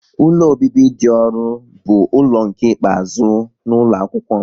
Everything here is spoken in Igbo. Ụlọ obibi dị ọrụ bụ ụlọ nke ikpeazụ n'ụlọ akwụkwọ m